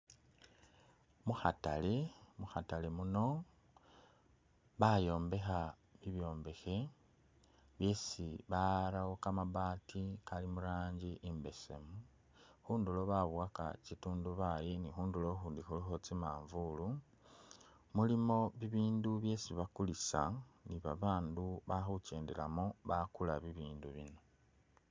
Mukhatale, mukhatale muno bayombekha ibyombekhe bisi barawo kamabaati kari murangi imbesemu ,khundulo babowaka kitundubali ni khundulo ukhundu khulikho tsimanvuulu, mulimo bibindu byesi bakulisa ni babandu bakhukyendelamo bakula bibindu bino